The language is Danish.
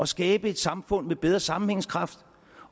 skabe et samfund med bedre sammenhængskraft